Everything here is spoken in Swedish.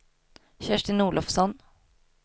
Kerstin Olofsson